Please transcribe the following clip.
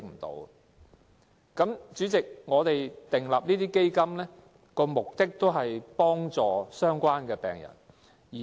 代理主席，設立這些基金的目的，是要幫助相關病人。